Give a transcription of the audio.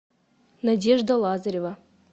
надежда лазарева